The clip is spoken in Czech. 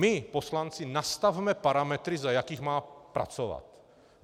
My poslanci nastavme parametry, za jakých má pracovat.